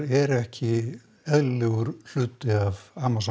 eru ekki eðlilegur hluti af Amazon